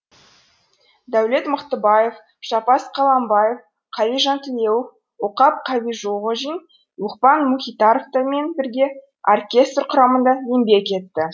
дәулет мықтыбаев жаппас қаламбаев қали жантілеуов оқап қабиғожин лұқпан мұхитовтармен бірге оркестр құрамында еңбек етті